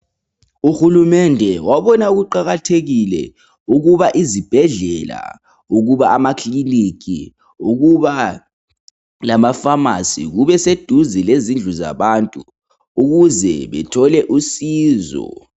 Uhulumende wabona kuqakathekile ukuba izibhedlela, ukuba amakilinika, ukuaba lamafamasi kube seduze lezindlu zabantu ukuze bethole usizo.